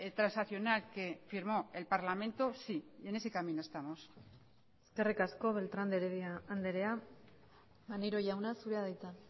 transaccional que firmó el parlamento sí en ese camino estamos eskerrik asko beltrán de heredia andrea maneiro jauna zurea da hitza